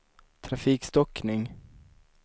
trafikstockning